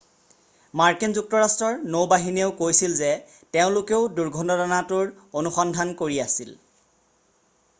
মাৰ্কিন যুক্তৰাষ্ট্ৰৰ নৌ বাহিনীয়েও কৈছিল যে তেওঁলোকেও দুৰ্ঘটনাটোৰ অনুসন্ধান কৰি আছিল